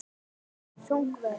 Þung vörn.